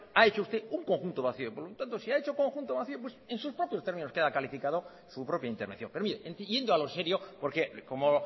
ha hecho usted un conjunto vacío por lo tanto si ha hecho conjunto vacío pues en sus propios términos queda calificado su propia intervención pero mire infiriendo a lo serio porque como